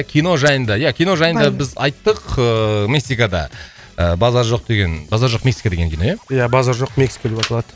кино жайында ия кино жайында біз айттық ыыы мексикада ыыы базар жоқ деген базар жоқ мексика деген кино ия ия базар жоқ мексика деп аталады